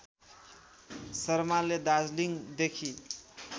शर्माले दार्जिलिङदेखि